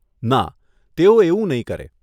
ના, તેઓ એવું નહીં કરે.